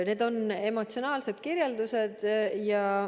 Need on emotsionaalsed kirjeldused.